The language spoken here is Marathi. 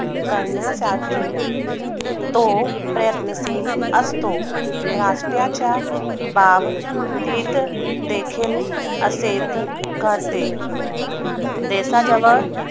करण्यासाठी तो प्रयत्नशील असतो राष्ट्राच्या बाग तीत देखील असेच गाते देशाजवळ